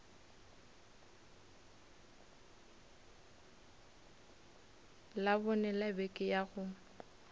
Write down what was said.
labone la beke ya go